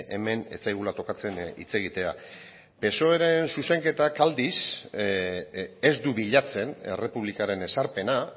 hemen ez zaigula tokatzen hitz egitea psoeren zuzenketak aldiz ez du bilatzen errepublikaren ezarpena